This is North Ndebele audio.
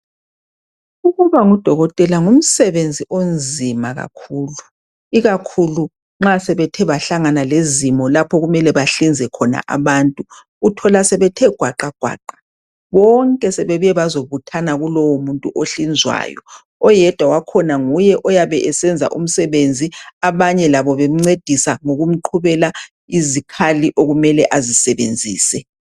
Ukuba ngudokotela ngumsebenzi omzima kakhulu ikakhulu nxa sebethe bahlangana lezimo lapho okumele bahlinze abantu. Uthola sebethegwaqagwaqa bonke sebebuye bazobuthana kulowo muntu onhlinzwayo. Oyedwa wakhona nguye oyabe esenza umsebenzi abanye lobo bemcedisa ngokumqhubela izikhali okumele azisebenzise.